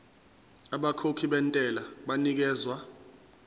abakhokhi bentela banikezwa